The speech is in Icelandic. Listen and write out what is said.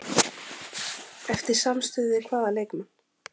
Eftir samstuð við hvaða leikmann?